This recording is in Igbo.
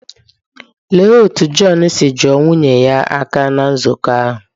Lee otú John si juo nwunye ya aka ná nzukọ ahụ